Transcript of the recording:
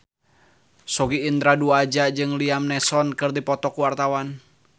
Sogi Indra Duaja jeung Liam Neeson keur dipoto ku wartawan